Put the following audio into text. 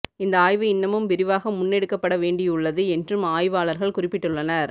இந்த ஆய்வு இன்னமும் விரிவாக முன்னெடுக்கப்பட வேண்டியுள்ளது என்றும் ஆய்வாளர்கள் குறிப்பிட்டுள்ளனர்